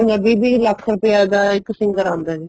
ਵੀਹ ਵੀਹ ਲੱਖ ਰੁਪਏ ਆ ਦਾ ਇੱਕ singer ਆਂਦਾ ਜੀ